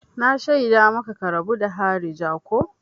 Na shaida maka ka rabu da harija ko!